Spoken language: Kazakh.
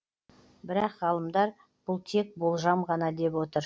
бірақ ғалымдар бұл тек болжам ғана деп отыр